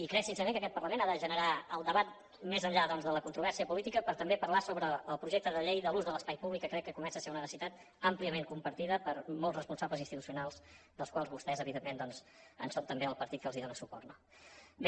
i crec sincerament que aquest parlament ha de generar el debat més enllà doncs de la controvèrsia política per també parlar sobre el projecte de llei de l’ús de l’espai públic que crec que comença a ser una necessitat àmpliament compartida per molts responsables institucionals dels quals vostès evidentment són també el partit que els dóna suport no bé